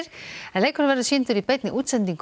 leikurinn verður sýndur í beinni útsendingu